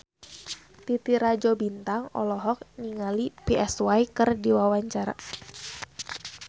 Titi Rajo Bintang olohok ningali Psy keur diwawancara